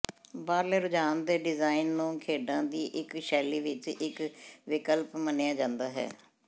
ਬਾਹਰਲੇ ਰੁਝਾਨ ਦੇ ਡਿਜ਼ਾਇਨ ਨੂੰ ਖੇਡਾਂ ਦੀ ਇੱਕ ਸ਼ੈਲੀ ਵਿੱਚ ਇੱਕ ਵਿਕਲਪ ਮੰਨਿਆ ਜਾਂਦਾ ਹੈ